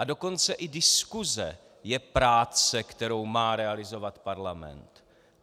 A dokonce i diskuse je práce, kterou má realizovat Parlament.